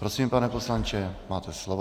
Prosím, pane poslanče, máte slovo.